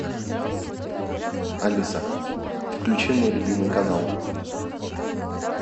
алиса включи мой любимый канал